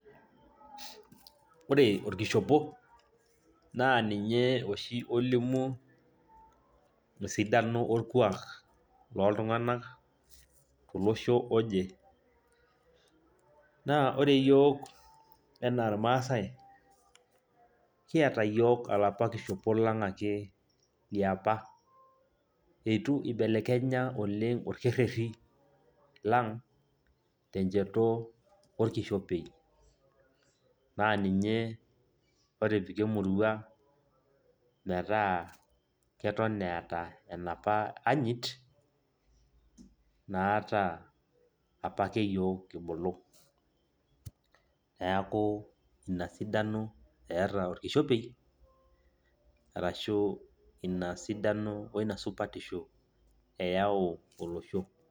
Ore olkishop naa ninye oshi olimu esidano olkuak lol' tunganak tolosho oje. Naa ore iyiook anaa ilmaasai kiata ake yiok olapa kishop lang' liapa, eitu ibelekenye oleng' olkereri lang' tenjeto olkishopei, naa ninye otopika emurrua metaa eton eeta enapa anyit naata apake yiok kibulu. Neeku ina sidano eeta olkishopei arushu inasidano oinasupatisho eyau olosho.